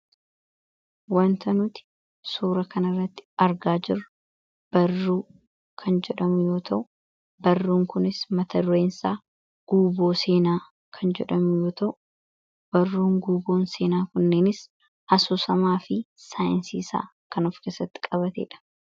Wanta nuti suura kan irratti argaa jirru barruu kan jedhamu yoota'u barruun kunis matadureensaa barruun guuboon seenaa kunneenis asosamaa fi saayinsiisaa kan of kesatti qabatee dha.